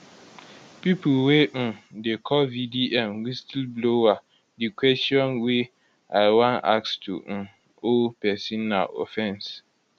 pipo wey um dey call vdm whistle blower di kwesion wey i wan ask to um owe pesin na offence